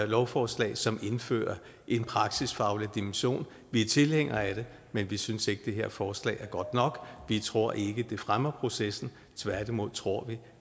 lovforslag som indfører en praksisfaglig dimension vi er tilhængere af det men vi synes ikke det her forslag er godt nok vi tror ikke det fremmer processen tværtimod tror vi